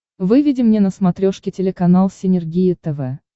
выведи мне на смотрешке телеканал синергия тв